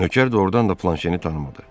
Nökər doğurdan da Planşeni tanımadı.